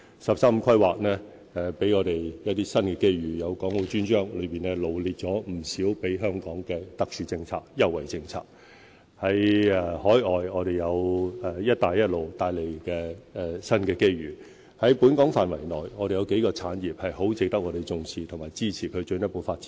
"十三五"規劃給予我們一些新機遇，有《港澳專章》臚列不少給予香港的特殊政策及優惠政策；在海外，我們有"一帶一路"帶來的新機遇；在本港範圍內，我們有幾個產業很值得重視和支持，以作進一步發展。